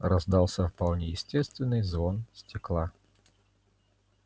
раздался вполне естественный звон стекла